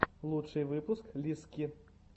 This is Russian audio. лучший выпуск лиззки